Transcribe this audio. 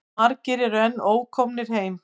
Margir eru enn ókomnir heim.